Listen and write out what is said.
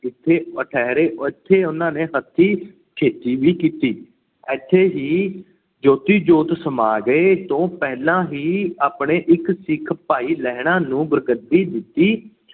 ਵਿਖੇ ਠਹਿਰੇ। ਇੱਥੇ ਉਹਨਾਂ ਨੇ ਹੱਥੀਂ ਖੇਤੀ ਵੀ ਕੀਤੀ। ਇੱਥੋਂ ਹੀ ਜੋਤੀ-ਜੋਤ ਸਮਾ ਗਏ। ਇਸ ਤੋਂ ਪਹਿਲਾਂ ਹੀ ਆਪਣੇ ਇੱਕ ਸਿੱਖ ਭਾਈ ਲਹਿਣਾ ਨੂੰ ਗੁਰਗੱਦੀ ਦਿੱਤੀ